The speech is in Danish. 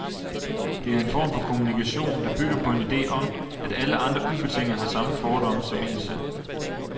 Det er en form for kommunikation, der bygger på en ide om, at alle andre ubetinget har samme fordomme som en selv.